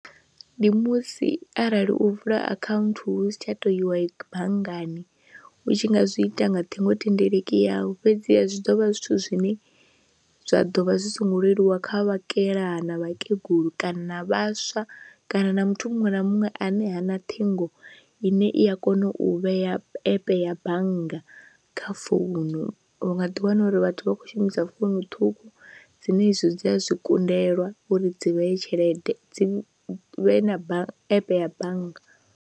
Ndi musi arali u vula akhaunthu hu si tsha tou iwa banngani u tshi nga zwi ita nga ṱhingothendeleki yawe fhedziha zwi ḓo vha zwithu zwine zwa ḓo vha zwi songo leluwa kha vhakalaha na vhakegulu kana na vhaswa kana na muthu muṅwe na muṅwe ane ha na ṱhingo ine i a kona u vhea app ya bannga kha founu, u nga ḓiwana uri vhathu vha khou shumisa founu ṱhukhu dzine izwi dzi a zwi kundelwa uri dzi vheye tshelede dzi vhe na app ya bannga.